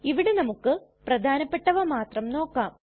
ഇവിടെ നമുക്ക് പ്രധാനപെട്ടവ മാത്രം നോക്കാം